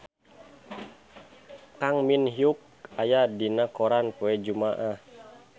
Kang Min Hyuk aya dina koran poe Jumaah